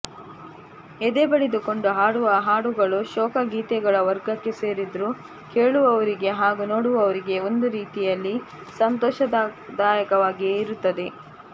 ಎದೆ ಬಡಿದುಕೊಂಡು ಹಾಡುವ ಹಾಡುಗಳು ಶೋಕ ಗೀತೆಗಳ ವರ್ಗಕ್ಕೆ ಸೇರಿದರೂ ಕೇಳುವವರಿಗೆ ಹಾಗೂ ನೋಡುವವರಿಗೆ ಒಂದು ರೀತಿಯಲ್ಲಿ ಸಂತೋಷದಾಯಕವಾಗಿಯೇ ಇರುತ್ತದೆ